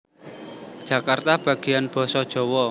Jakarta Bagian Basa Djawa